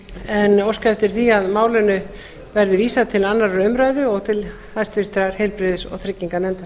en óska eftir því að málinu verði vísað til annarrar umræðu og til háttvirtrar heilbrigðis og trygginganefndar